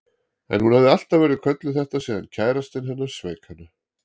En hún hafði alltaf verið kölluð þetta síðan kærastinn hennar sveik hana.